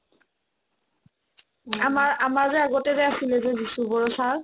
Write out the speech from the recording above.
আমাৰ আমাৰ যে আগতে যে আছিলে যে বিসু বড়ো sir